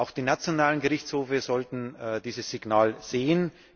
Auch die nationalen Gerichtshöfe sollten dieses Signal sehen.